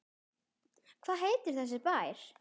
Hvað heitir þessi bær?